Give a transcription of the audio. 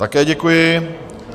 Také děkuji.